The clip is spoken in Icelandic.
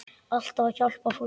Alltaf að hjálpa fólki.